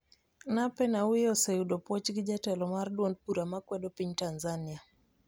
Nape Nnauye oseyudo puoch gi jatelo mar duond bura ma kwedo piny Tanzania